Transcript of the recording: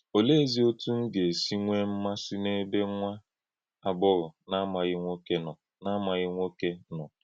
Ọ̀lèézì otú m gà-èsí nwèé mmasì n’ébé nwá àgbọ̀ghọ̀ na-amàghì nwọ̀kè nọ? na-amàghì nwọ̀kè nọ?